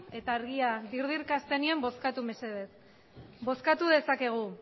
eta argia dirdirka hasten denean bozkatu mesedez bozkatu dezakegu